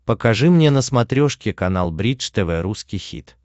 покажи мне на смотрешке канал бридж тв русский хит